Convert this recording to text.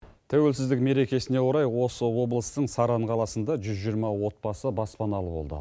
тәуелсіздік мерекесіне орай осы облыстың саран қаласында жүз жиырма отбасы баспаналы болды